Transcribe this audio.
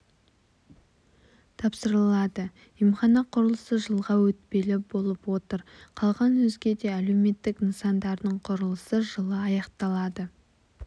тапсырылады емхана құрылысы жылға өтпелі болып отыр қалған өзге де әлеуметтік нысандардың құрылысы жылы аяқталады